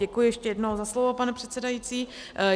Děkuji ještě jednou za slovo, pane předsedající.